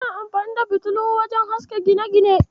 Ana amfani da fitilu wajen haska gine-gine.